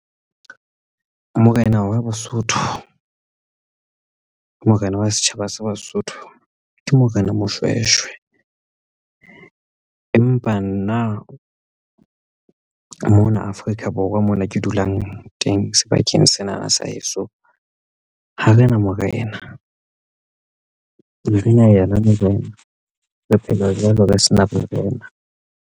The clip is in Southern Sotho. Morena wa Basotho, morena wa setjhaba sa Basotho ke Morena Moshweshwe. Empa nna mona Afrika Borwa mona ke dulang teng sebakeng sena na sa heso ha rena morena morena ha re na ena morena re phela jwalo re sena morena.